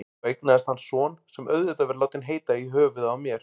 Svo eignast hann son, sem auðvitað verður látinn heita í höfuðið á mér.